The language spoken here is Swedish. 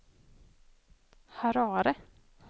Harare